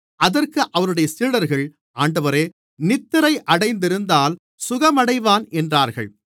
அதற்கு அவருடைய சீடர்கள் ஆண்டவரே நித்திரை அடைந்திருந்தால் சுகமடைவான் என்றார்கள்